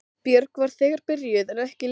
Björg var þegar byrjuð en ekki Linda.